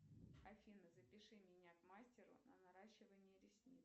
афина запиши меня к мастеру на наращивание ресниц